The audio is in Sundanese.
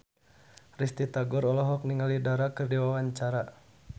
Risty Tagor olohok ningali Dara keur diwawancara